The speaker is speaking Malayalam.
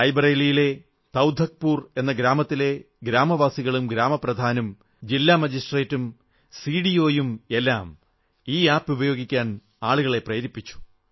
റായ് ബറേലിയിലെ തൌധക്പൂർ എന്ന ഗ്രാമത്തിലെ ഗ്രാമവാസികളും ഗ്രാമപ്രധാനും ജില്ലാ മജിസ്ട്രേട്ടും സിഡിഒ യും എല്ലാം ഈ ആപ് ഉപയോഗിക്കാൻ ആളുകളെ പ്രേരിപ്പിച്ചു